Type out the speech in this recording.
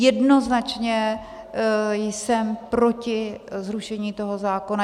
Jednoznačně jsem proti zrušení toho zákona.